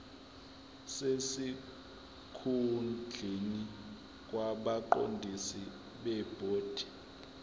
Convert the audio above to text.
sesikhundleni kwabaqondisi bebhodi